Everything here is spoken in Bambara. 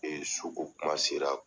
su kokuma sera.